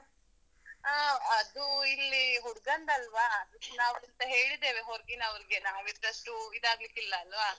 ಅಹ್ ಅದೂ ಇಲ್ಲಿ ಹುಡ್ಗಂದಲ್ವಾ, ನಾವ್ ಇಲ್ಲಿ ಹೇಳಿದ್ದೇವೆ ಹೊರ್ಗಿನವ್ರಿಗೆ, ನಾವ್ ಇದಷ್ಟು ಇದಾಗಲಿಕ್ಕಿಲ್ಲ ಅಲ್ವ.